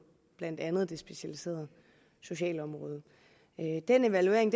blandt andet det specialiserede socialområde den evaluering